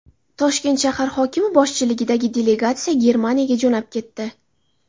Toshkent shahar hokimi boshchiligidagi delegatsiya Germaniyaga jo‘nab ketdi.